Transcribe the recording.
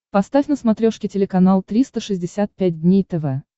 поставь на смотрешке телеканал триста шестьдесят пять дней тв